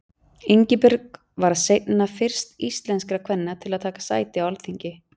Ingibjörg varð seinna fyrst íslenskra kvenna til að taka sæti á Alþingi.